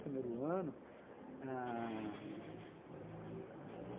Primeiro ano ãh...